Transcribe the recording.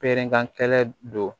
Peran kɛlɛn don